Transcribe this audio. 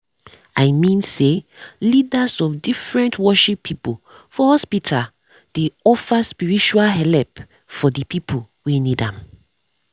i mean say leadas of different worship pipu for hospita dey offer spiritau helep for de pipu wen need am